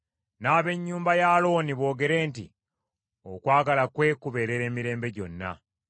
N’ab’ennyumba ya Alooni boogere nti, “Okwagala kwe kubeerera emirembe gyonna.”